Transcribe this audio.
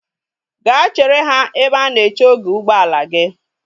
Ga chere ha ebe a na-eche oge ụgbọala gi!